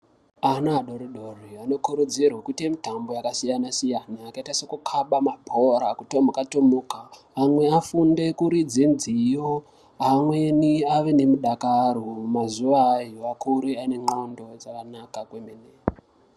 Ana adori dori ano kurudzirwe kuite mitambo yaka siyana siyana yakaita seku kaba mabhora kutomuka tomuka amwe afunde kuridze nziyo amweni ave ne mudakaro mazuva ayo akure ane ndxondo dzakanaka kwemene.